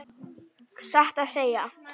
Satt að segja.